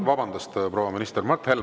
Vabandust, proua minister!